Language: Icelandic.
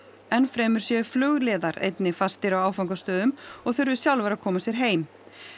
enn fremur séu flugliðar einnig fastir á áfangastöðum og þurfi sjálfir að koma sér heim